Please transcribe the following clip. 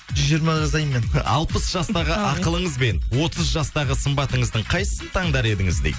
жүз жиырма жасаймын мен алпыс жастағы ақылыңыз бен отыз жастағы сымбатыңыздың қайсысын таңдар едіңіз дейді